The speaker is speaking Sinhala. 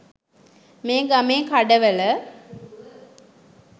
මේ ගමේ කඩවල